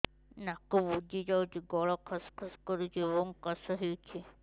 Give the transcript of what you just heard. ନାକ ବୁଜି ଯାଉଛି ଗଳା ଖସ ଖସ କରୁଛି ଏବଂ କାଶ ହେଉଛି